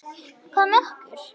Hvað með okkur?